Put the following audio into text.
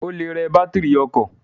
Ó le rẹ bátìrì ọkọ̀.